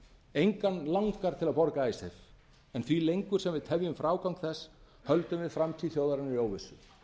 engan langar til að borga icesave en því lengur sem við tefjum frágang þess höldum við framtíð þjóðarinnar í óvissu